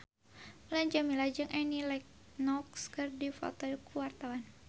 Mulan Jameela jeung Annie Lenox keur dipoto ku wartawan